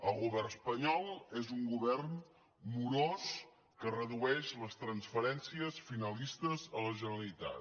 el govern espanyol és un govern morós que redueix les transferències finalistes a la generalitat